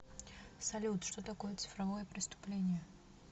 салют что такое цифровое преступление